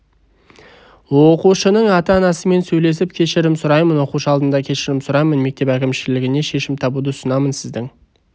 оқушының ата анасымен сөйлесіп кешірім сұраймын оқушы алдында кешірім сұраймын мектеп әкімшілігіне шешімін табуды ұсынамын сіздің